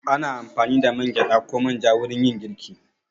Ana amfani da man gyaɗa ko man ja wurin yin girki.